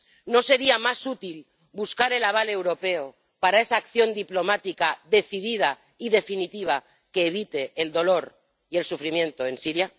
¿No sería más útil buscar el aval europeo para esa acción diplomática decidida y definitiva que evite el dolor y el sufrimiento en Siria?